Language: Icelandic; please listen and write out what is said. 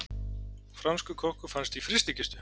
Franskur kokkur fannst í frystikistu